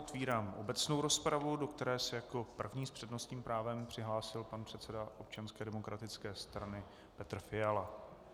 Otevírám obecnou rozpravu, do které se jako první s přednostním právem přihlásil pan předseda Občanské demokratické strany Petr Fiala.